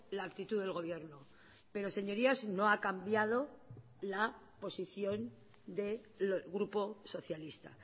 la actitud del gobierno pero señorías no ha cambiado la posición del grupo socialista